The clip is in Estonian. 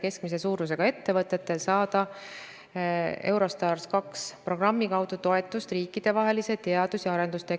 Ka sellise rahvaarvuga on võimalik riiki üleval pidada, aga juhin tähelepanu, et siseränne toimub selle aja jooksul ikkagi valdavalt Tallinnasse ja selle ümbrusesse, n-ö kuldsesse ringi, samuti Tartusse ja Tartu ümbrusesse.